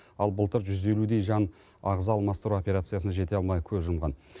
ал былтыр жүз елудей жан ағза алмастыру операциясына жете алмай көз жұмған